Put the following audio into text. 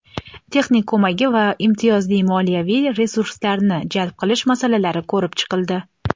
texnik ko‘magi va imtiyozli moliyaviy resurslarini jalb qilish masalalari ko‘rib chiqildi.